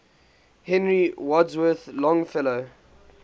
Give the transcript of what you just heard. henry wadsworth longfellow